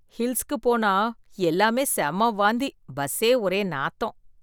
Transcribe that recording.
ஹில்ஸ்ல போனா, எல்லாமே செம்ம வாந்தி பஸ்ஸே ஒரே நாத்தம்.